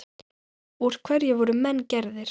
Úr hverju voru menn gerðir?